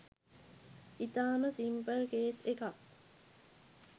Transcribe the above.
ඉතාම simple case එකක්.